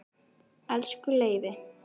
Elsku Leifi.